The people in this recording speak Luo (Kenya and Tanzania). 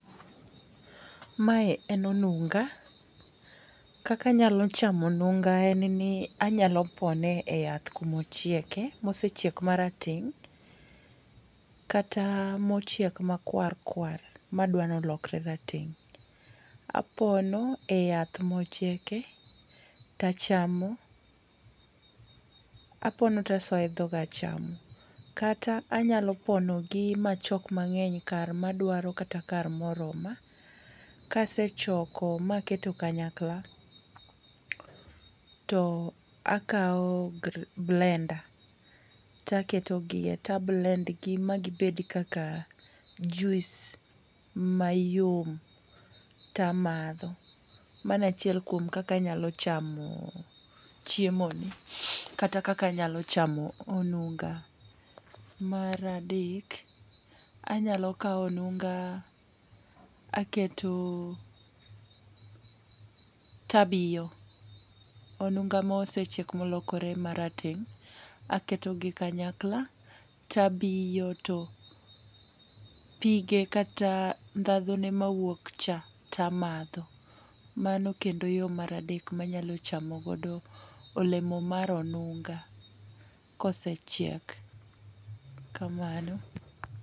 Mae en onunga. Ka ka anyalo chamo onunga en ni anyalo pone e yath kumochieke, mosechiek marateng' kata mochiek makwar kwar madwa nolokre rateng'. Apono e yath mochieke to achamo. Apono to asoyo e dhoga achama. Kata anyalo ponogi machok mang'eny kar madwaro kata kar moroma. Kasechoko maketo kanyakla to akaw blender to aketo gie to ablend gi ma gibed kaka jus mayom to amadho. Mano achiel kuom kaka anyalo chamo chiemo ni kata kaka anyalo chamo onunga. Mar adek anyalo kaw onunga aketo to abiyo. Onunga mosechiek molokore marateng' aketo gi kanyakla to abiyo to pige kata ndhadho ne mawuok cha to amadho. Mano kendo yo mar adek ma anyalo chamo godo olemo mar onunga kosechiek kamano.